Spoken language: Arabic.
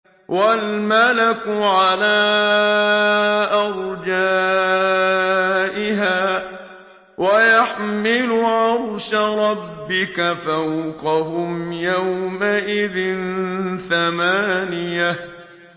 وَالْمَلَكُ عَلَىٰ أَرْجَائِهَا ۚ وَيَحْمِلُ عَرْشَ رَبِّكَ فَوْقَهُمْ يَوْمَئِذٍ ثَمَانِيَةٌ